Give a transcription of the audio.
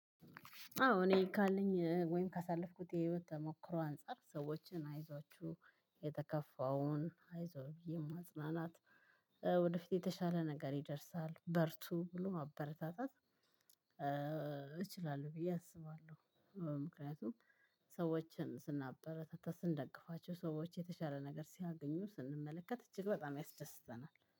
አዎ እኔ ካለኝ ወይም ካሳለፍኩት የህይወት ተሞክሮ አንፃር፣ ሰዎችን አይዟችሁ የተከፋውን አይዞህ ብዬ ማጽናናት፣ ወደፊት የተሻለ ነገር ይደርሳል በርቱ ብሎ ማበረታታት እችላለሁ ብዬ አስባለሁ። ምክንያቱም ሰዎችን ስናበረታታ ስንደግፋቸው ሰዎች የተሻለ ነገር ሲያገኙ ስንመለከት እጅግ በጣም ያስደስተናል።